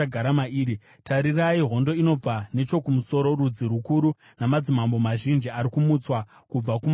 “Tarirai! Hondo inobva nechokumusoro; rudzi rukuru namadzimambo mazhinji ari kumutswa kubva kumagumo enyika.